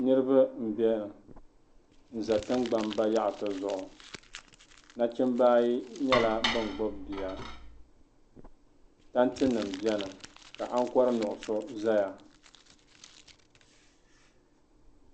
Niriba n bɛ n za tingbani bayaɣiti zuɣu nachimba ayi yɛla ban gbibi bia tanti nima bɛ ni ka ankɔri nuɣiso zaya.